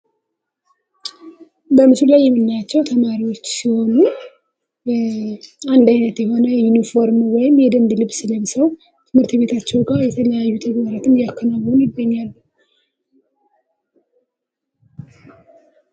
በምስሉ ላይ የምናያቸው ተማሪዎች ሲሆኑ አንድ አይነት ዩኒፎርም ወይም የደንብ ልብስ ለብሰው በትምህርት ቤታቸው ጋ የተለያዩ ፕሮግራሞችን እያከናወኑ ይገኛሉ።